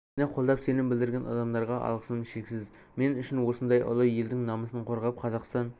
мені қолдап сенім білдірген адамдарға алғысым шексіз мен үшін осындай ұлы елдің намысын қорғап қазақстан